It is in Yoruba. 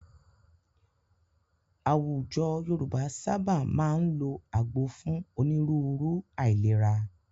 Àwùjọ Yorùbá sábà máa ń lọ agbo fún onírúurú aìlèrà.